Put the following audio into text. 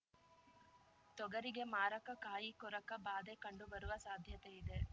ತೊಗರಿಗೆ ಮಾರಕ ಕಾಯಿಕೊರಕ ಬಾಧೆ ಕಂಡು ಬರುವ ಸಾಧ್ಯತೆ ಇದೆ